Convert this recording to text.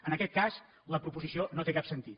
en aquest cas la proposició no té cap sentit